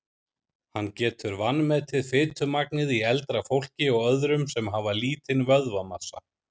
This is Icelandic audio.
Hann getur vanmetið fitumagnið í eldra fólki og öðrum sem hafa lítinn vöðvamassa.